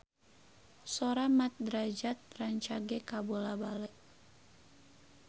Sora Mat Drajat rancage kabula-bale